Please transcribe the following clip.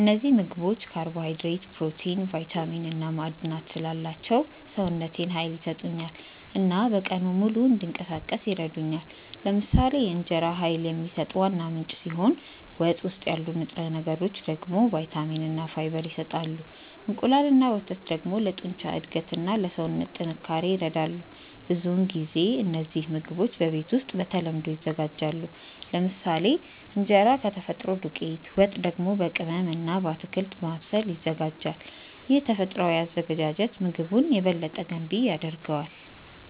እነዚህ ምግቦች ካርቦሃይድሬት፣ ፕሮቲን፣ ቫይታሚን እና ማዕድናት ስላላቸው ሰውነቴን ኃይል ይሰጡኛል እና በቀኑ ሙሉ እንዲንቀሳቀስ ይረዱኛል። ለምሳሌ እንጀራ ኃይል የሚሰጥ ዋና ምንጭ ሲሆን ወጥ ውስጥ ያሉ ንጥረ ነገሮች ደግሞ ቫይታሚን እና ፋይበር ይሰጣሉ። እንቁላል እና ወተት ደግሞ ለጡንቻ እድገት እና ለሰውነት ጥንካሬ ይረዳሉ። ብዙውን ጊዜ እነዚህ ምግቦች በቤት ውስጥ በተለምዶ ይዘጋጃሉ፤ ለምሳሌ እንጀራ ከተፈጥሮ ዱቄት፣ ወጥ ደግሞ በቅመም እና በአትክልት በማብሰል ይዘጋጃል። ይህ ተፈጥሯዊ አዘገጃጀት ምግቡን የበለጠ ገንቢ ያደርገዋል።